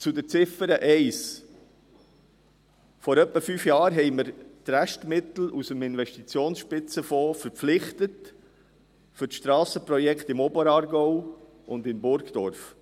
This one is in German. Zu Ziffer 1: Vor ungefähr fünf Jahren verpflichteten wir die Restmittel aus dem Investitionsspitzenfonds für die Strassenprojekte im Oberaargau und in Burgdorf.